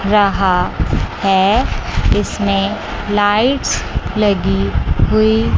रहा है इसमें लाइट्स लगी--